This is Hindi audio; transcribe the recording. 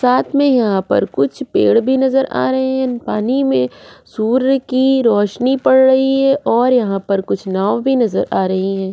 साथ में यहाँ पर कुछ पेड़ भी नज़र आ रहा है पानी में सूर्य की रोशनी पड़ रही है और यहाँ पर नाव भी नज़र आ आ रही है।